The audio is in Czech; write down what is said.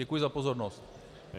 Děkuji za pozornost.